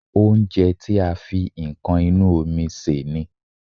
Oúnjẹ tí a fi nǹkan inú omi sè ni